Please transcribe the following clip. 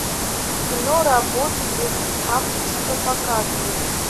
кино работа без авторства показывай